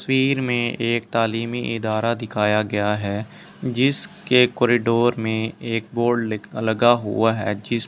तस्वीर में एक ताली में एक धारा दिखाया गया है जिस के कॉरिडोर में एक बोर्ड ली लगा हुआ है जिस --